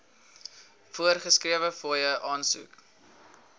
voorgeskrewe fooie aansoek